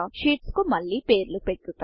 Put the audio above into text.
sheets కు మళ్ళీ పేర్లు పెట్టుట